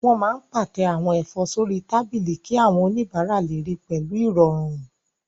Wọ́n máa n pàtẹ àwọn ẹ̀fọ́ sórí tábìlì kí àwọn oníbàárà lè ríi pẹ̀lú ìrọ̀rùn